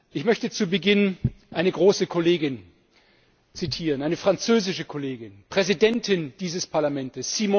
Ich möchte zu Beginn eine große Kollegin zitieren, eine französische Kollegin, Präsidentin dieses Parlaments.